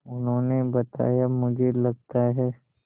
उन्होंने बताया मुझे लगता है